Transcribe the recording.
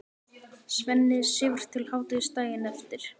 Svenni sefur til hádegis daginn eftir.